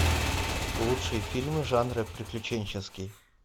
лучшие фильмы жанра приключенческий